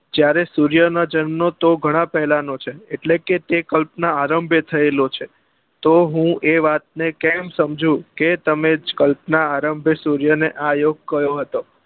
જયારે સૂર્ય નો જન્મ તો ગણા પેલા નો છે એટલે કે તે કલ્પના આરંભ્ય થયેલો છે તો હું એ વાત ને કેમ સમજુ કે તમે જ કલ્પના આરંભ્ય સૂર્ય ને આ યોગ કહ્યો હતો